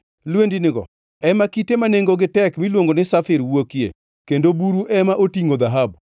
Lwendinigo ema kite ma nengogi tek miluongo ni Safir wuokie kendo buru ema otingʼo dhahabu.